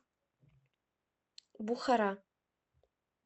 бухара